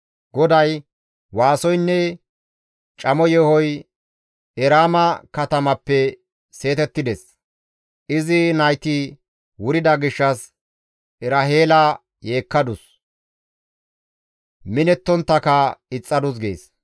GODAY, «Waasoynne camo yeehoy Eraama katamappe seetettides; izi nayti wurida gishshas Eraheela yeekkadus; minetonttaka ixxadus» gees.